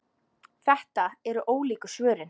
Þetta eru ólíku svörin.